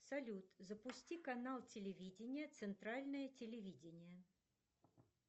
салют запусти канал телевидения центральное телевидение